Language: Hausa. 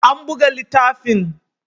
An buga littafin